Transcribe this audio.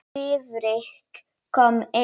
Friðrik kom inn.